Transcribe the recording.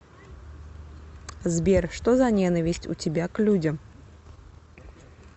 сбер что за ненависть у тебя к людям